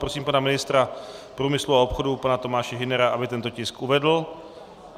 Prosím pana ministra průmyslu a obchodu pana Tomáše Hünera, aby tento tisk uvedl.